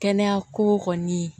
Kɛnɛya ko kɔni